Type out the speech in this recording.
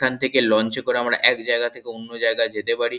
এখান থেকে লঞ্চ -এ করে আমরা এক জায়গা থেকে অন্য জায়গা যেতে পারি।